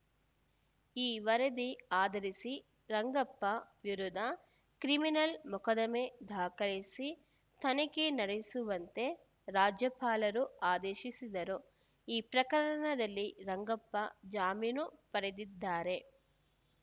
ಈ ವರದಿ ಆಧರಿಸಿ ರಂಗಪ್ಪ ವಿರುದ್ಧ ಕ್ರಿಮಿನಲ್‌ ಮೊಕದ್ದಮೆ ದಾಖಲಿಸಿ ತನಿಖೆ ನಡೆಸುವಂತೆ ರಾಜ್ಯಪಾಲರು ಆದೇಶಿಸಿದರು ಈ ಪ್ರಕರಣದಲ್ಲಿ ರಂಗಪ್ಪ ಜಾಮೀನು ಪಡೆದಿದ್ದಾರೆ